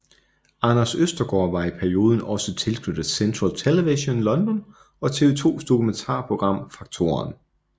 Anders Østergaard var i perioden også tilknyttet Central Television London og TV 2s dokumentarprogram Fak2eren